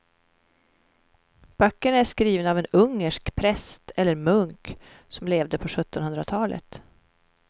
Böckerna är skrivna av en ungersk präst eller munk som levde på sjuttonhundratalet.